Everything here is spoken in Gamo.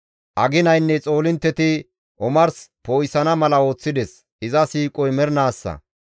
Aginaynne xoolintteti omars poo7isana mala ooththides; iza siiqoy mernaassa.